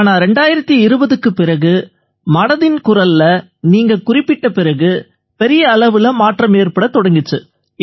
ஆனா 2020க்கும் பிறகு மனதின் குரல்ல நீங்க குறிப்பிட்ட பிறகு பெரிய அளவுல மாற்றம் ஏற்படத் தொடங்கிச்சு